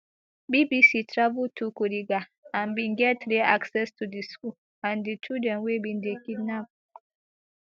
bbc travel to kuriga and bin get rare access to di school and di children wey bin dey kidnapped